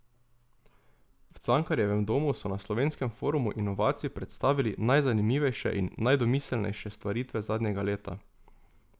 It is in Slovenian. V Cankarjevem domu so na Slovenskem forumu inovacij predstavili najzanimivejše in najdomiselnejše stvaritve zadnjega leta.